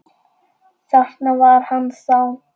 Þarna var hann þá!